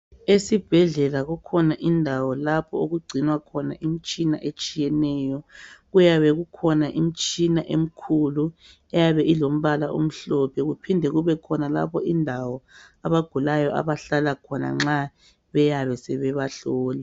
Esibhedlela kukhona indawo lapho okugcinwa khona imitshina etshiyeneyo. Kuyabe kukhona imitshina emikhulu uyabe ilombala omhlophe. Kuphinde kubekhona indawo abagulayo abahlala khona nxa beyabe sebebahlola.